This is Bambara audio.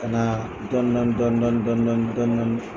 Kana dɔni dɔni dɔni dɔni